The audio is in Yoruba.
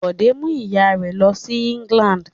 Bọ̀dé mú ìyà rẹ̀ lọ sí England.